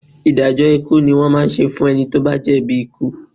Ìdájọ́ ikú ni wọ́n máa ń ṣe fún ẹni tó bá jẹ̀bi ikú